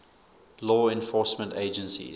law enforcement agencies